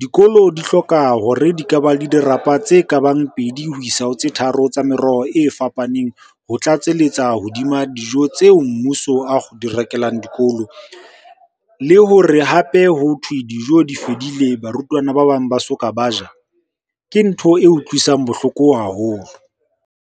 Dikolo di hloka hore di ka ba le dirapa tse kabang pedi ho isa ho tse tharo tsa meroho e fapaneng ho tlatselletsa hodima dijo tseo mmuso a di rekelang dikolo. Le hore hape hothwe dijo di fedile barutwana ba bang ba soka ba ja, ke ntho e utlwisang bohloko haholo.